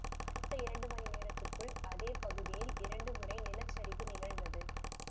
அடுத்த இரண்டு மணிநேரத்திற்குள் அதே பகுதியில் இரண்டு முறை நிலச்சரிவு நிகழ்ந்தது